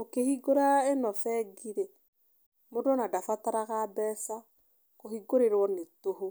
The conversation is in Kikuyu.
Ũkĩhingũra ĩno bengi rĩ, mũndũ ona ndabataraga mbeca. Kũhingũrĩrwo nĩ tũhũ.